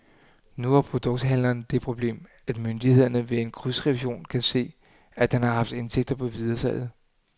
Nu har produkthandleren det problem, at myndighederne ved en krydsrevision kan se, at han har haft indtægter på videresalget.